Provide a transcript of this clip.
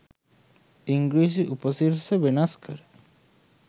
ඉංග්‍රීසි උපසිරැසි වෙනස් කර